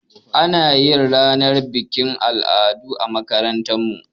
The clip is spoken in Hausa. Anayin ranar bikin al'adu a makarantu